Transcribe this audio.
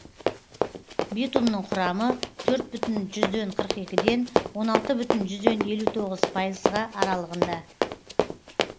битумның құрамы төрт бүтін жүзден қырық екіден он алты бүтін жүзден елу тоғыз пайызға аралығында